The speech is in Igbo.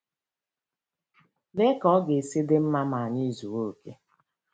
Lee ka ọ ga-esi dị mma ma anyị zuo okè!